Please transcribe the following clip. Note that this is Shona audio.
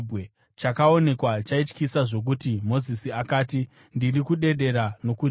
Chakaonekwa chaityisa zvokuti Mozisi akati, “Ndiri kudedera nokutya.”